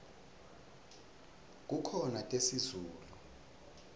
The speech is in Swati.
kukhona tesizulu